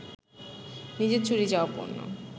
নিজের চুরি যাওয়া পণ্য